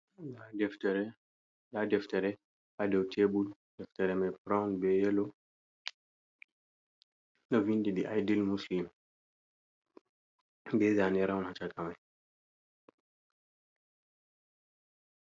Ndaa deftere, ndaa deftere haa dow tebul, deftere may burawun be yelo. Ɗo winndi Di Aydil Muslim, be zaane raawun, haa caka may.